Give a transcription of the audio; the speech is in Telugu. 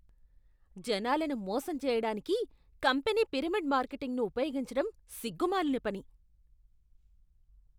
జనాలను మోసం చేయడానికి కంపెనీ పిరమిడ్ మార్కెటింగ్ను ఉపయోగించడం సిగ్గు మాలిన పని.